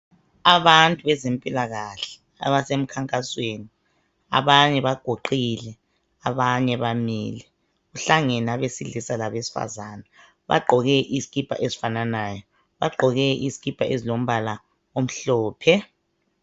Abantu bezempilakahle abasemkhankasweni , abanye baguqile abanye bamile , kuhlangane abesilisa labesifazane , bagqoke izikipa ezifananayo , bagqoke izikipa ezilombala omhlophe